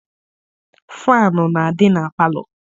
Faanụ na-adị na palọ.